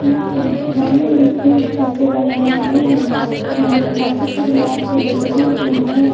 यहां पे गमले में फूल पत्ते लगाए गए हैं यहां पे काफी सारे लाइट से डेकोरेशन किए गए हैं।